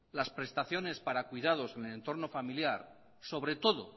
las prestaciones para cuidados en el entorno familiar